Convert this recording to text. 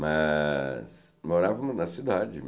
Mas morávamos na cidade.